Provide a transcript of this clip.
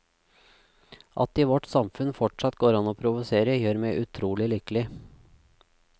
At det i vårt samfunn fortsatt går ann å provosere, gjør meg utrolig lykkelig.